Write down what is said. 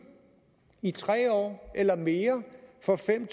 i tre år eller mere for fem